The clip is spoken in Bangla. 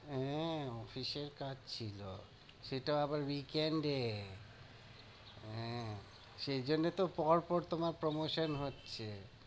হ্যাঁ official কাজ ছিল, সেটা আবার week end এ, হ্যাঁ সেই জন্যে তো পরপর তোমার promotion হচ্ছে।